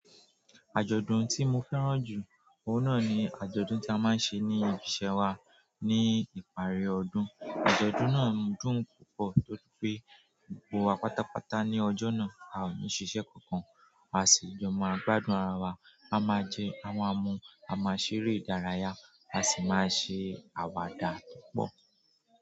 Àjọ̀dún tí mo fẹ́ràn jù, òun náà ni àjọ̀dún tí a máa ń ṣe ní ibi iṣẹ́ wa ní ìparí ọdún. Àjọ̀dún náà dùn púpọ̀ torí pé gbogbo wa pátápátá ní ọjọ́ náà a ò ní ṣiṣẹ́ kankan, a sì jọ máa gbádùn ara wa. A maa jẹ, a maa mu, a maa ṣeré ìdárayá, a si maa se àwàdà púpọ̀.